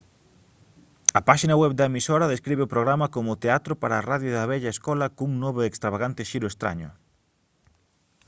a páxina web da emisora describe o programa como teatro para radio da vella escola cun novo e extravagante xiro estraño